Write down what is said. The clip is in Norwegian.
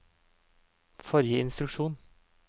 forrige instruksjon